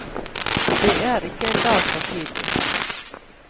Det er ikke en dag for tidlig.